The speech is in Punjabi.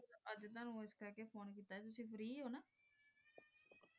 ਮੈਂ ਤੁਵਾਨੁ ਆਸ ਲੈ phone ਕੀਤਾ ਸੇ ਤੁਸੀਂ